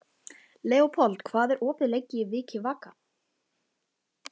Leópold, hvað er opið lengi í Vikivaka?